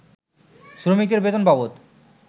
শ্রমিকদের বেতন বাবদ